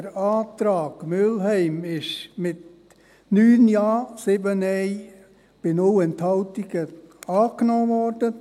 Der Antrag Mühlheim wurde mit 9 Ja, 7 Nein bei 0 Enthaltungen angenommen worden.